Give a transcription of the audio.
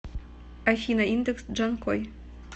афина индекс джанкой